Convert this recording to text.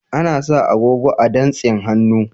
Ana sa agogo a dantsin hannu.